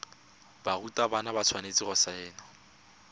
barutwana ba tshwanetse go saena